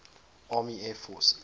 army air forces